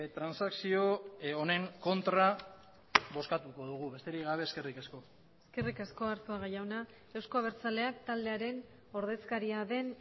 transakzio honen kontra bozkatuko dugu besterik gabe eskerrik asko eskerrik asko arzuaga jauna euzko abertzaleak taldearen ordezkaria den